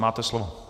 Máte slovo.